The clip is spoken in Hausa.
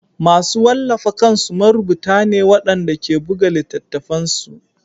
Masu wallafa kansu marubuta ne waɗanda ke buga littattafansu